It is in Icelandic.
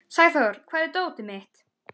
Sæþór, hvar er dótið mitt?